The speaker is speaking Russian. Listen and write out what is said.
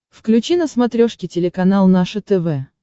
включи на смотрешке телеканал наше тв